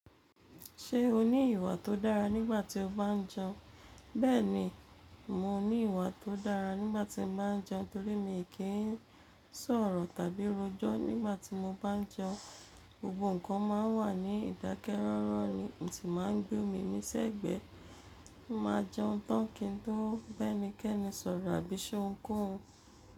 Ṣé o ní ìwà tó dára nígbà tí o bá jẹun? Bẹ́ẹ̀ni, mo ní ìwà tó dára nígbà tí mo bá jẹun torí mi kì í sọ̀rọ̀ tàbí rojọ́ nígbà tí mo bá jẹun. Gbogbo nǹkan máà wà ní ìdákẹ́ rọ́rọ́ ni, mosì máa gbé omi ní sẹ́gbẹ̀ẹ́. Mo máa jẹun tán kí n tó bá ẹnikẹ́ni sọ̀rọ̀ àbí ṣé òun koun.